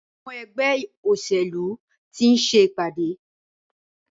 Àwọn ẹgbẹ́ òṣèlú ti ń ṣe ìpàdé.